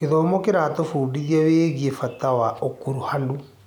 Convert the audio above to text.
Gĩthomo kĩratũbundithia wĩgiĩ bata ya ũkuruhanu.